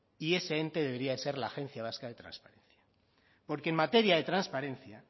y ese ente debería ser la agencia vasca de transparencia porque en materia de transparencia